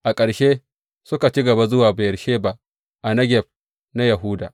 A ƙarshe, suka ci gaba zuwa Beyersheba a Negeb na Yahuda.